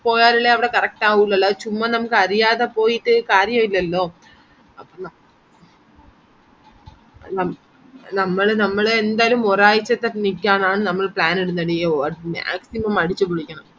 പോയാലല്ലേ അവിടെ correct ആവുള്ളൂ അല്ലാതെ ചുമ്മാ നമ്മക്ക് അറിയാതെ പോയിട്ട് കാര്യായില്ലല്ലോ നമ്മള് നമ്മള് എന്തായാലും ഒരാഴ്ച്ചത്തെ നിക്കാനാണ് നമ്മള് plan ഇടുന്നഡി അത് maximum അടിച്ചുപൊളിക്കണം